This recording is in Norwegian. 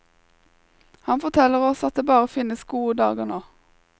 Han forteller oss at det bare finnes gode dager nå.